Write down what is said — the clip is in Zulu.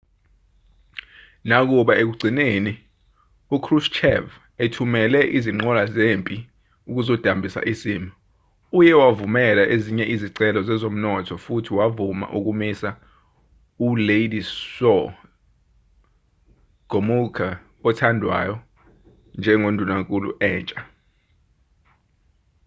nakuba ekugcineni ukrushchev ethumele izinqola zempi ukuzodambisa isimo uye wavumela ezinye izicelo zezomnotho futhi wavuma ukumisa uwladyslaw gomulka othandwayo njengendunankulu entsha